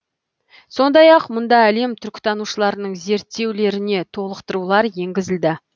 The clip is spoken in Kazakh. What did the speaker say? сондай ақ мұнда әлем түркітанушыларының зерттеулеріне толықтырулар енгізілді